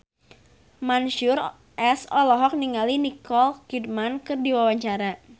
Mansyur S olohok ningali Nicole Kidman keur diwawancara